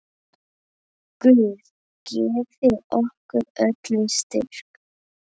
Guð gefi okkur öllum styrk.